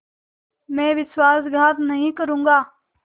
मैं विश्वासघात नहीं करूँगा